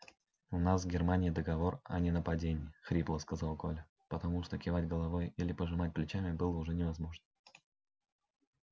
у нас с германией договор о ненападении хрипло сказал коля потому что кивать головой или пожимать плечами было уже невозможно